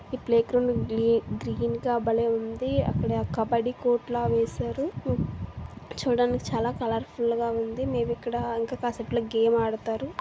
ఈ playground green గా బలే ఉంది.అక్కడ కబడ్డీ కోర్టులో వేశారు చూడండి చాలా కలర్ ఫుల్ గా ఉంది మీ దగ్గర ఆల్కహాసిటీ